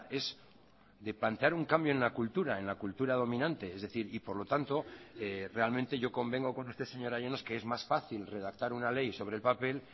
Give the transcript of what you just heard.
es de plantear un cambio en la cultura en la cultura dominante es decir y por lo tanto realmente yo convengo con usted señora llanos que es más fácil redactar una ley sobre el papel